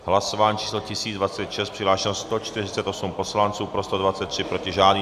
Hlasování číslo 1026, přihlášeno 148 poslanců, pro 123, proti žádný.